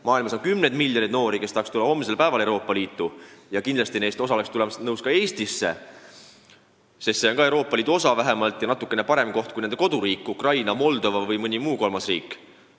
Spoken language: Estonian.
Maailmas on kümneid miljoneid noori, kes tahaks tulla homsel päeval Euroopa Liitu, ja kindlasti oleks osa neist nõus tulema Eestisse, sest see on ka Euroopa Liidu osa ja natukene parem koht kui nende koduriik Ukraina, Moldova või mõni muu kolmas riik.